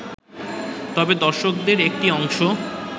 তবে দর্শকদের একটি অংশ